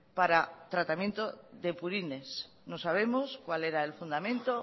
para el tratamiento de purines no sabemos cuál era el fundamento